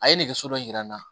A ye nɛgɛso dɔ jira n na